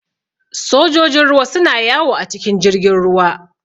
Sojojin ruwa su na yawo a cikin jirgin ruwa